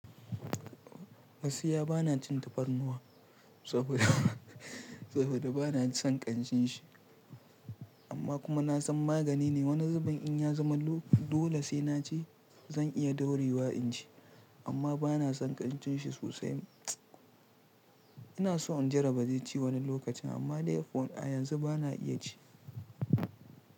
Gaskiya ba na cin tafarnuwa saboda, saboda ba na son ƙanshin shi amma kuma na san magani ne. Wani zubin in ya zama dole sai na ci zan iya daurewa in ci amma ba na son ƙanshin shi sosai. Ina so in jarraba ci wani lokacin amma dai yanzu ba na iya ci.